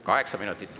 Kaheksa minutit.